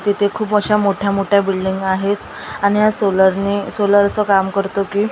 तिथे खूप अशा मोठ्या मोठ्या बिल्डींग आहेत आणि हा सोलरने सोलरचं काम करतो की म्हणजे जे--